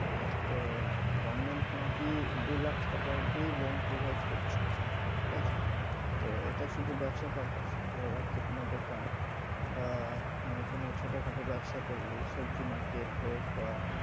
তো government নাকি দু লাখ টাকা অবধি loan provide করছে টাকা ঠিক আছে তো এটা শুধূ ব্যাবসা purpose এ ধরে রাখ যে কোনো দোকান বা মানে কোনো ছোট খাটো ব্যাবসা করলি সবজি market হোক বা,